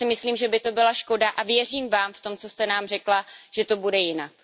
Já si myslím, že by to byla škoda a věřím Vám v tom, co jste nám řekla, že to bude jinak.